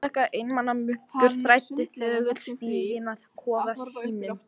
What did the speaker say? Einstaka einmana munkur þræddi þögull stíginn að kofa sínum.